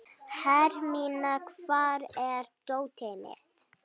Hermína, hvar er dótið mitt?